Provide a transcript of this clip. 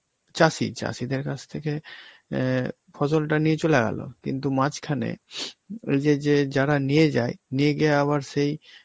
চাষী, চাষীদের কাছ থেকে অ্যাঁ ফসলটা নিয়ে চলে গেল, কিন্তু মাঝখানে ওই যে যে যারা নিয়ে যায়, নিয়ে গিয়ে আবার সেই